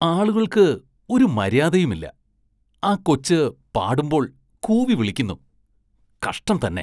ആളുകള്‍ക്ക് ഒരു മര്യാദയുമില്ല, ആ കൊച്ച് പാടുമ്പോള്‍ കൂവി വിളിക്കുന്നു, കഷ്ടം തന്നെ.